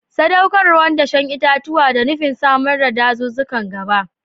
Sadaukarwar dashen itatuwa da nufin samar da dazuzzukan gaba.